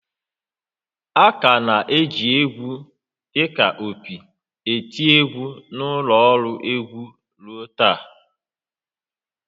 A ka na-eji égwú dị ka opi eti égwú na ụlọ ọrụ egwu ruo taa